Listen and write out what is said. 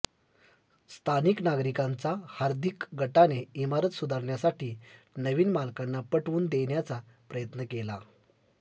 स्थानिक नागरीकांचा हार्दिक गटाने इमारत सुधारण्यासाठी नवीन मालकांना पटवून देण्याचा प्रयत्न केला